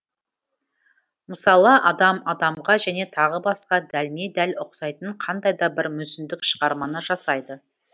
мысалы адам адамға және тағы басқа дәлме дәл ұқсайтын қандайда бір мүсіндік шығарманы жасайды